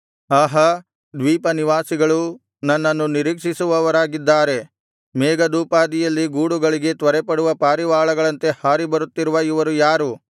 ಆಹಾ ದ್ವೀಪನಿವಾಸಿಗಳೂ ನನ್ನನ್ನು ನಿರೀಕ್ಷಿಸುವವರಾಗಿದ್ದಾರೆ ಮೇಘದೋಪಾದಿಯಲ್ಲಿ ಗೂಡುಗಳಿಗೆ ತ್ವರೆಪಡುವ ಪಾರಿವಾಳಗಳಂತೆ ಹಾರಿ ಬರುತ್ತಿರುವ ಇವರು ಯಾರು